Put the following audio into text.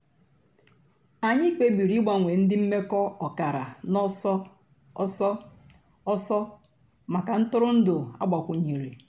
ànyị̀ kpèbìrì ị̀gbanwe ńdí m̀mekọ̀ ọ̀kàrà n'ọ̀sọ̀ òsọ̀ òsọ̀ mǎká ntụrụ̀ndụ̀ àgbàkwùnyèrè.